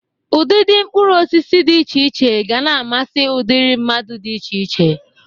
Udịdị mkpụrụosisi dị iche iche ga na-amasi ụdịrị mmadụ dị iche iche.